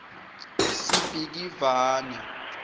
sibhikivane